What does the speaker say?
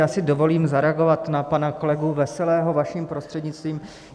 Já si dovolím zareagovat na pana kolegu Veselého, vaším prostřednictvím.